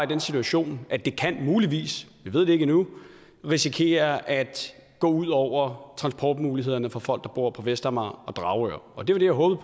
den situation at det muligvis vi ved det ikke endnu kan risikere at gå ud over transportmulighederne for folk der bor på vestamager og i dragør det var det jeg håbede